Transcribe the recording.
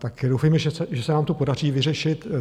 Tak doufejme, že se nám to podaří vyřešit.